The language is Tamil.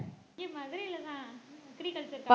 இங்க மதுரையிலதான் agriculture படி~